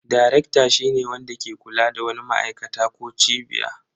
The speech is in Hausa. Darekta shine wanda ke kula da wani ma'aikata ko cibiya.